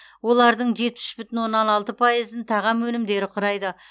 олардың жетпіс үш бүтін оннан алты пайызын тағам өнімдері құрайды